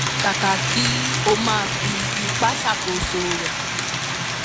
kàkà kí ó máa fi ipa ṣàkóso rẹ